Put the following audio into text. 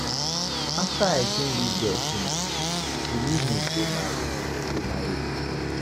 After I train dis girl finish, she leave me go marry me go marry rich man.